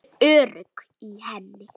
Ég er örugg í henni.